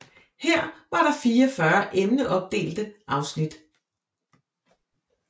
Her var der 44 emneopdelte afsnit